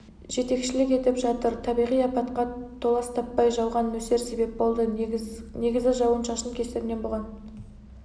жетекшілік етіп жатыр табиғи апатқа толас таппай жауған нөсер себеп болды негізі жауын-шашын кесірінен бұған